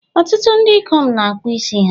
Ọtụtụ ndị ikom na akpụ isi ha